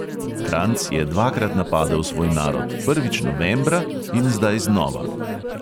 Kranjc je dvakrat napadel svoj narod, prvič novembra in zdaj znova.